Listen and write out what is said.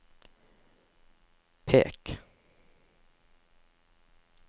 pek